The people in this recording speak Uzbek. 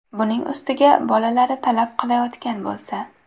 Buning ustiga bolalari talab qilayotgan bo‘lsa.